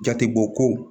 Jatebɔ ko